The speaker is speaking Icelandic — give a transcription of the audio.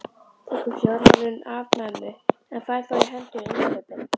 Tekur fjármálin af mömmu en fær þá í hendur innkaupin.